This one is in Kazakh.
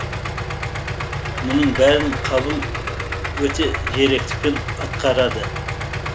мұның бәрін қабыл өте зеректікпен атқарады